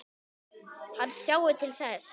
Hann sjái til þess.